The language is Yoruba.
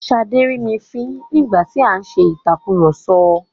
Ṣadé rí mi fín nígbà tí a ń ṣe ìtàkurọ̀sọ.